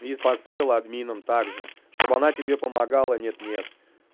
поставила админом также чтобы она тебе помогала нет нет